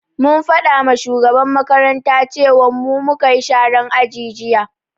Mun faɗama shugaban makaranta cewan mu mukayi sharan aji jiya